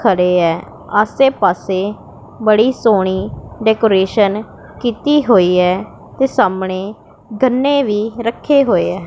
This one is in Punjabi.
ਖੜੇ ਐ ਆਸੇ ਪਾਸੇ ਬੜੀ ਸੋਹਣੀ ਡੈਕੋਰੇਸ਼ਨ ਕੀਤੀ ਹੋਈ ਐ ਤੇ ਸਾਹਮਣੇ ਗੰਨੇ ਵੀ ਰੱਖੇ ਹੋਏ ਐ।